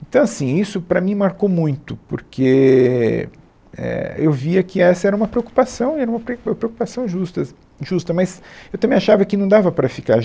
Então, assim, isso para mim marcou muito, porque, é, éh, eu via que essa era uma preocupação, era uma pre preo preocupação justas, justa, mas eu também achava que não dava para ficar.